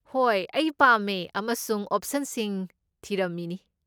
ꯍꯣꯏ, ꯑꯩ ꯄꯥꯝꯃꯦ ꯑꯃꯁꯨꯡ ꯑꯣꯞꯁꯟꯁꯤꯡ ꯊꯤꯔꯝꯃꯤꯅꯤ꯫